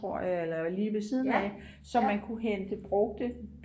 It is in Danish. tror jeg eller lige ved siden af så man kunne hente brugte